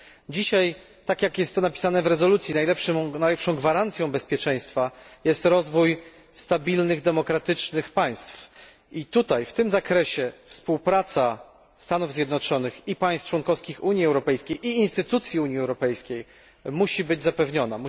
Dzisiaj, tak jak jest to napisane w rezolucji, najlepszą gwarancją bezpieczeństwa jest rozwój stabilnych, demokratycznych państw i w tym zakresie współpraca Stanów Zjednoczonych, państw członkowskich Unii Europejskiej oraz instytucji Unii Europejskiej musi być zapewniona.